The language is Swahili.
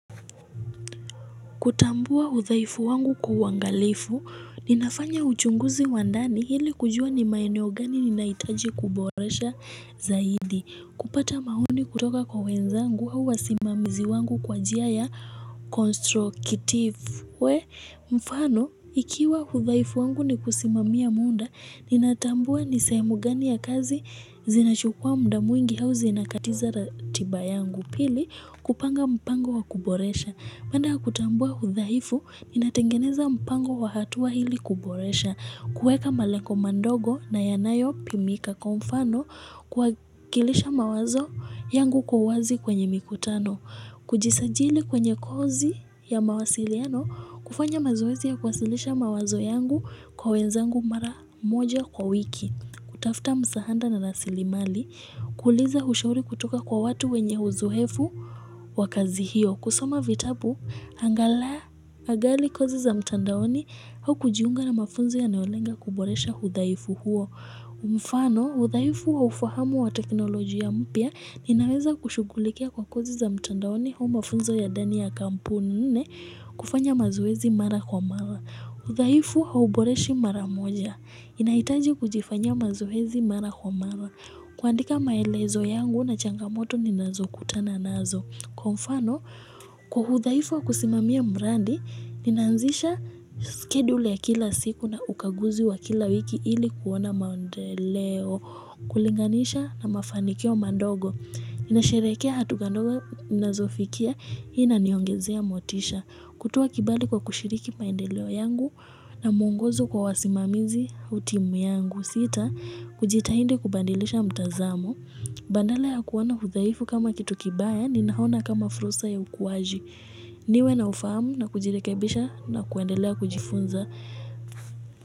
Kutambua udhaifu wangu kwa uangalifu, ninafanya uchunguzi wa ndani ili kujua ni maeneo gani ninahitaji kuboresha zaidi. Kupata maoni kutoka kwa wenzangu au wasimamizi wangu kwa njia ya constructivu. We mfano, ikiwa udhaifu wangu ni kusimamia muda, ninatambua ni sehemu gani ya kazi zinachukua muda mwingi au zinakatiza ratiba yangu. Pili, kupanga mpango wa kuboresha. Napenda kutambua udhaifu, inatengeneza mpango wa hatua ili kuboresha, kueka malengo madogo na yanayopimika kwa mfano kuwakilisha mawazo yangu kwa wazi kwenye mikutano, kujisajili kwenye kozi ya mawasiliano, kufanya mazoezi ya kuwasilisha mawazo yangu kwa wenzangu mara moja kwa wiki. Kutafta msahada na rasilimali, kuliza ushauri kutoka kwa watu wenye uzoefu wa kazi hiyo. Kusoma vitabu, angalau, agali kozi za mtandaoni au kujiunga na mafunzo yanayolenga kuboresha udhaifu huo. Mfano, udhaifu wa ufahamu wa teknolojia mpya, ninaweza kushugulikia kwa kozi za mtandaoni au mafunzo ya ndani ya kampuni nne kufanya mazoezi mara kwa mara. Udhaifu hauboreshi maramoja. Inahitaji kujifanyia mazoezi mara kwa mara. Kuandika maelezo yangu na changamoto ninazokutana nazo. Kwa mfano, kwa udhaifu wa kusimamia mradi, ninanzisha schedule ya kila siku na ukaguzi wa kila wiki ili kuona maendeleo, kulinganisha na mafanikio madogo. Nasherekea hatua ndogo nazofikia hii inaniongezea motisha. Kutoa kibali kwa kushiriki maendeleo yangu na mwongozo kwa wasimamizi au timu yangu sita kujitahidi kubadilisha mtazamo. Badala ya kuona udhaifu kama kitu kibaya ninaona kama fursa ya ukuwaji. Niwe na ufahamu na kujirekebisha na kuendelea kujifunza.